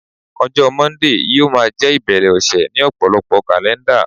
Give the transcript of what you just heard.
ọjọ Monday yíò ma je ibere ọsẹ ni ọpọlọpọ kalẹnda